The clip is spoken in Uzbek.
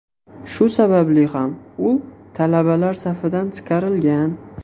Shu sababli ham u talabalar safidan chiqarilgan.